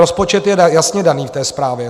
Rozpočet je jasně daný v té zprávě.